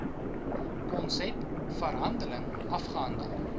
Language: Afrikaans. konsep verhandeling afgehandel